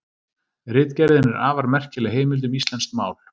Ritgerðin er afar merkileg heimild um íslenskt mál.